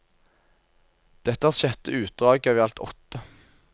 Dette er sjette utdrag av i alt åtte.